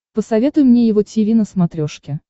посоветуй мне его тиви на смотрешке